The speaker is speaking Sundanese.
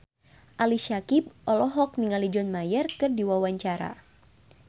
Ali Syakieb olohok ningali John Mayer keur diwawancara